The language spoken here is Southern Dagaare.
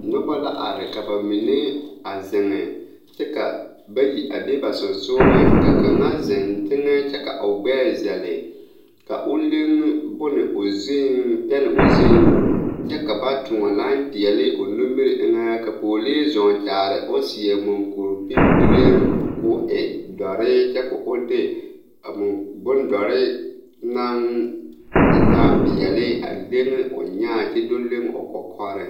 Nobɔ la are ka ba mine a zeŋ kyɛ ka bayi a be ba seŋsugliŋ ka kaŋa zeŋ teŋɛ kyɛ ka o gbɛɛ zɛle ka o leŋ bone o zuŋ pɛne o zuiŋ kyɛ ka ba tõɔ lai peɛle o nimiri eŋɛ ka pɔɔlee zɔɔ kyaare o seɛ mankuripiŋpireŋ koo e dɔre kyɛ ko o de a mun bondɔre naŋ taa peɛle a leŋe o nyaa kyɛ do leŋ o kɔkɔreŋ.